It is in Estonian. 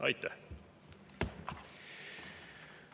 Aitäh!